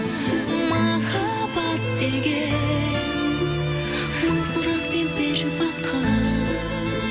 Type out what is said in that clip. махаббат деген мың сұрақ пен бір бақыт